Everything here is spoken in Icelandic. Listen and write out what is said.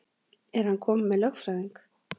Er hann kominn með lögfræðing?